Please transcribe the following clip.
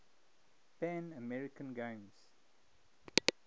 pan american games